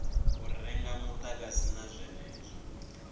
u renga mudagasi na zwenezwo